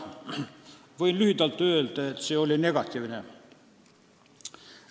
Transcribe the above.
Võin lühidalt öelda, et see oli negatiivne.